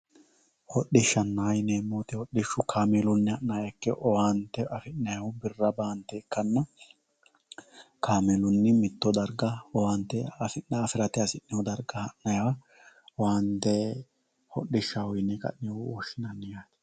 Hodhishaho yinanihu kaameluni mitte baseni wole base hananiha ikana waaga baante lekate xertiranowa kaameluni iilimaniwa baala hodhishaho yine woshinani